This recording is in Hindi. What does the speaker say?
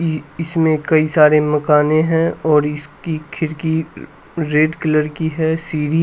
ई इसमें कई सारे मकाने है और इसकी खिरकी रेड कलर की है सिरी सीढ़ी--